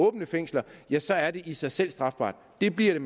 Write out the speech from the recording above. åbent fængsel ja så er det i sig selv strafbart det bliver det